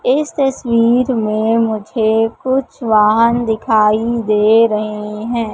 इस तस्वीर में मुझे कुछ वाहन दिखाई दे रहे हैं।